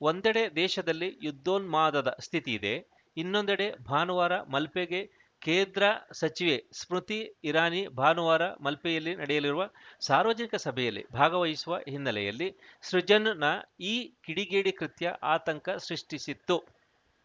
ಒಂದೆಡೆ ದೇಶದಲ್ಲಿ ಯುದ್ಧೋನ್ಮಾದದ ಸ್ಥಿತಿ ಇದೆ ಇನ್ನೊಂದೆಡೆ ಭಾನುವಾರ ಮಲ್ಪೆಗೆ ಕೇಂದ್ರ ಸಚಿವೆ ಸ್ಮೃತಿ ಇರಾನಿ ಭಾನುವಾರ ಮಲ್ಪೆಯಲ್ಲಿ ನಡೆಯಲಿರುವ ಸಾರ್ವಜನಿಕ ಸಭೆಯಲ್ಲಿ ಭಾಗವಹಿಸುವ ಹಿನ್ನೆಲೆಯಲ್ಲಿ ಸೃಜನ್‌ನ ಈ ಕಿಡಿಗೇಡಿ ಕೃತ್ಯ ಆತಂಕ ಸೃಷ್ಟಿಸಿತ್ತು